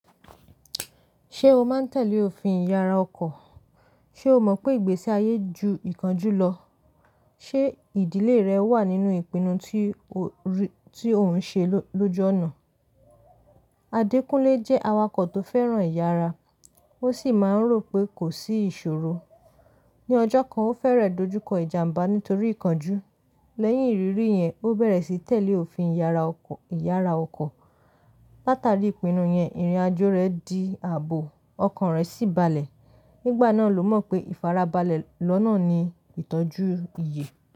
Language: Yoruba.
Ṣé o máa ń tẹ̀lé òfin ìyára ọkọ̀? Ṣé o mọ̀ pé ìgbésí ayé ju ìkánjú lọ? Ṣé ìdílé rẹ wà nínú ìpinnu tí ò ń ṣe lóju ona? Adékúnlé jẹ́ awakọ̀ tó fẹ́ràn ìyára, ó sì máa ń rò pé kò sí ìṣòro. Ní ọjọ́ kan, ó fẹ́rẹ̀ dojú kọ ìjàmbá nítorí ìkánjú. Lẹ́yìn ìrírí yẹn, ó bẹ̀rẹ̀ sí tẹ̀lé òfin ìyára ọkọ̀. Látàrí ìpinnu yẹn, ìrìn-àjò rẹ̀ di ààbò, ọkan rẹ̀ sì balẹ̀. Nígbà náà ló mọ̀ pé ìfarabalẹ̀ lọ́nà ni ìtọ́jú iyè.